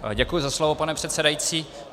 Děkuji za slovo, pane předsedající.